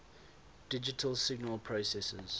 digital signal processors